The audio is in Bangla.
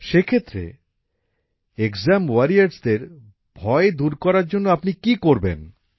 সেক্ষেত্রে এক্সাম ওয়ারিয়রসদের ভয় দূর করার জন্য আপনি কী করবেন